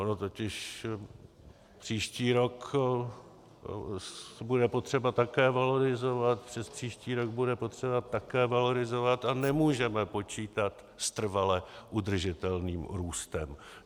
Ono totiž příští rok bude potřeba také valorizovat, přespříští rok bude potřeba také valorizovat a nemůžeme počítat s trvale udržitelným růstem.